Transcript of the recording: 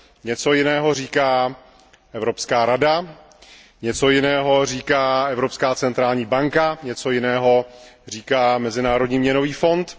Něco jiného říká Evropská rada, něco jiného říká Evropská centrální banka, něco jiného říká Mezinárodní měnový fond.